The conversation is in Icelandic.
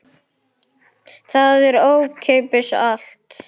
Það er ókeypis allt.